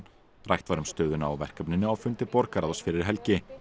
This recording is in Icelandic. rætt var um stöðuna á verkefninu á fundi borgarráðs fyrir helgi